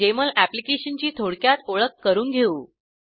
Jmol application ची थोडक्यात ओळख करून घेऊ